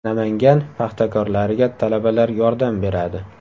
Namangan paxtakorlariga talabalar yordam beradi.